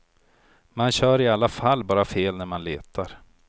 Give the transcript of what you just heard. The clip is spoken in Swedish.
Man kör i alla fall bara fel när man letar.